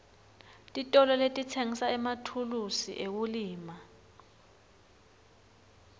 titolo letitsengisa emathulusi ekulima